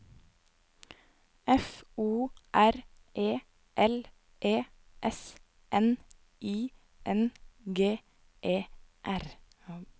F O R E L E S N I N G E R